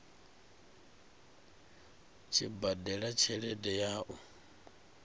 tshi badela tshelede ya u